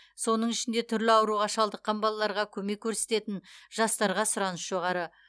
соның ішінде түрлі ауруға шалдыққан балаларға көмек көрсететін жастарға сұраныс жоғары